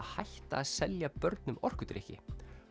hætta að selja börnum orkudrykki